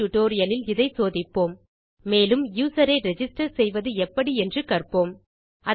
அடுத்த டியூட்டோரியல் லில் இதை சோதிப்போம்மேலும் யூசர் ஐ ரிஜிஸ்டர் செய்வது எப்படி என்று கற்போம்